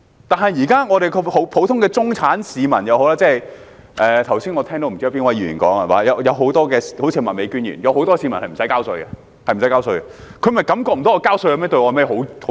但是，香港現時即使是普通的中產市民——我剛才聽到不知哪位議員說，好像是麥美娟議員——有很多市民無須繳稅，他們便感覺不到繳稅對他們有何好處。